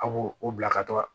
A b'o o bila ka taa